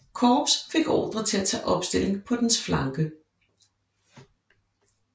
Korps fik ordre til at tage opstilling på dens flanke